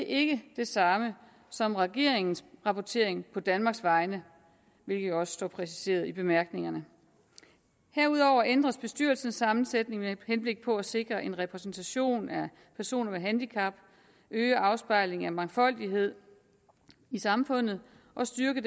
ikke det samme som regeringens rapportering på danmarks vegne hvilket også er præciseret i bemærkningerne herudover ændres bestyrelsens sammensætning med henblik på at sikre en repræsentation af personer med handicap øge afspejlingen af mangfoldighed i samfundet og styrke